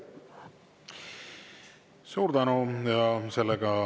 Suur tänu!